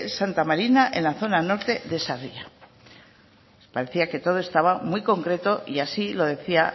santa marina en la zona norte de sarria parecía que todo estaba muy concreto y así lo debía